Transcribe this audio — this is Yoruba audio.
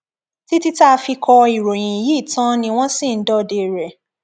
títí tá a fi kọ ìròyìn yìí tán ni wọn ṣì ń dọdẹ rẹ